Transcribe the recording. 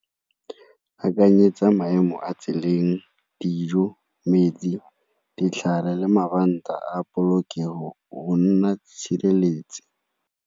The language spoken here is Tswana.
Akanyetsa maemo a tseleng, dijo, metsi, ditlhare le mabanta a polokego go nna tshireletso.